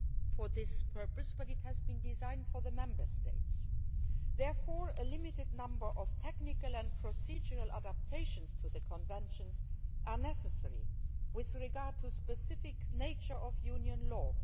for this purpose but it was designed for the Member States and therefore a limited number of technical and procedural adaptations to the Conventions are necessary with regard to the specific nature of Union law.